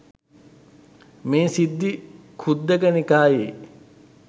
මේ සිද්ධිය ඛුද්දක නිකායේ